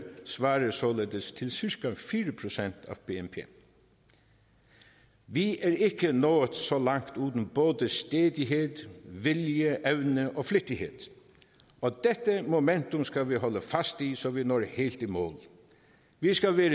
svarer således til cirka fire procent af bnp vi er ikke nået så langt uden både stædighed vilje evne og flid og dette momentum skal vi holde fast i så vi når helt i mål vi skal være